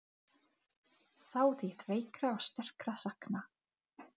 Það eru sjö sjoppur í þorpinu!